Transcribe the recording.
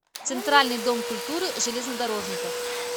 центральный дом культуры железнодорожников